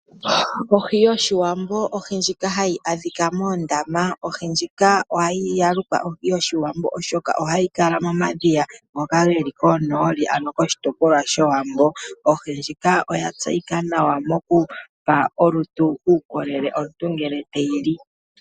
Ohi yOshiwambo ohi ndjika hayi adhika moondama noya lukwa ohi yOshiwambo oshoka ohayi kala momadhiya ngoka geli konooli ano koshitopolwa showambo. Ohi ndjika oya tseyika nawa mokupa olutu uukolele omuntu ngele teyi li.